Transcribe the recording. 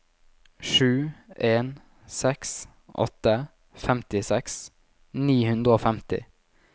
sju en seks åtte femtiseks ni hundre og femti